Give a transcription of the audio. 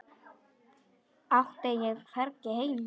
Átti ég hvergi heima?